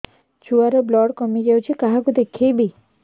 ଛୁଆ ର ବ୍ଲଡ଼ କମି ଯାଉଛି କାହାକୁ ଦେଖେଇବି